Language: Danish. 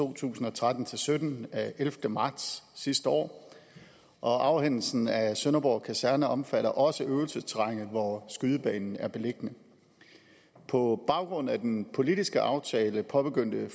to tusind og tretten til sytten af ellevte marts sidste år og afhændelsen af sønderborg kaserne omfatter også øvelsesterrænet hvor skydebanen er beliggende på baggrund af den politiske aftale påbegyndte